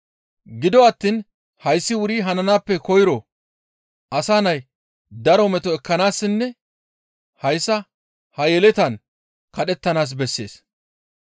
Gido attiin hayssi wuri hananaappe koyro Asa Nay daro meto ekkanaassinne hayssa ha yeletaan kadhettanaas bessees.